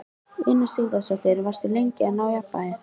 Una Sighvatsdóttir: Varstu lengi að ná jafnvægi?